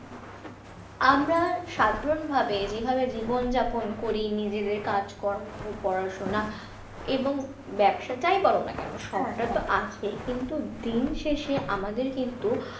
আমরা সাধারণভাবে যেভাবে জীবন যাপন করি নিজেদের কাজকর্ম পড়াশোনা এবং ব্যবসা যাই বলো না কেন সবটা তো আছে কিন্তু দিন শেষে আমাদের কিন্তু,